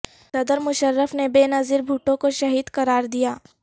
صدر مشرف نے بے نظیر بھٹو کو شہید قرار دیا